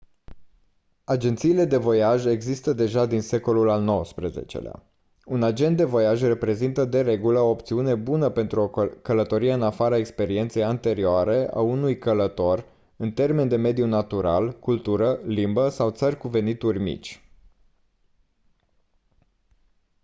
agențiile de voiaj există deja din secolul al xix-lea un agent de voiaj reprezintă de regulă o opțiune bună pentru o călătorie în afara experienței anterioare a unui călător în termeni de mediu natural cultură limbă sau țări cu venituri mici